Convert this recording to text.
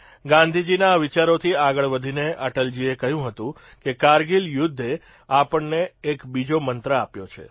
ગાંધીજીના આ વિચારોથી આગળ વધીને અટલજીએ કહ્યું હતું કે કારગીલ યુદ્ધે આપણને એક બીજો મંત્ર આપ્યો છે